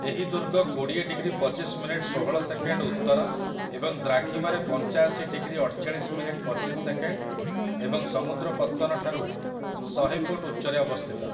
ଏହି ଦୁର୍ଗ କୋଡ଼ିଏ ଡିଗ୍ରୀ ପଚିଶ ମିନିଟ୍ ଷୋହଳ ସେକେଣ୍ଡ୍ ଉତ୍ତର ଏବଂ ଦ୍ରାଘିମାରେ ପଞ୍ଚାଶି ଡିଗ୍ରୀ ଅଠଚାଳିଶ ମିନିଟ୍ ପଚିଶ ସେକେଣ୍ଡ୍ ଏବଂ ସମୁଦ୍ର ପତ୍ତନଠାରୁ ଶହେ ଫୁଟ ଉଚ୍ଚରେ ଅବସ୍ଥିତ ।